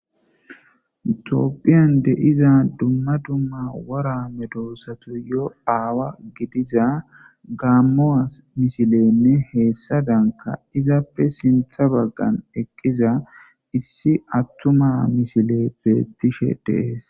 Toopphiyan deiza dumma dumma wora me doossatu yo aawa gidiza gaammoas misilenne heessa danka izappe sintha baggan eqqiza issi attuma misile beettishe dees.